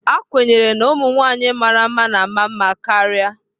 A kwenyere na ụmụ nwanyị mara mma na-ama mma karịa.